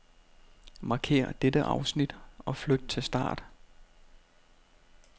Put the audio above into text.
Markér dette afsnit og flyt til start.